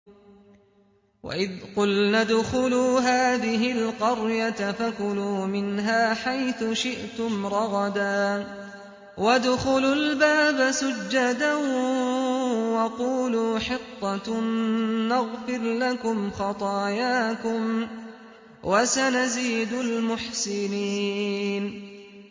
وَإِذْ قُلْنَا ادْخُلُوا هَٰذِهِ الْقَرْيَةَ فَكُلُوا مِنْهَا حَيْثُ شِئْتُمْ رَغَدًا وَادْخُلُوا الْبَابَ سُجَّدًا وَقُولُوا حِطَّةٌ نَّغْفِرْ لَكُمْ خَطَايَاكُمْ ۚ وَسَنَزِيدُ الْمُحْسِنِينَ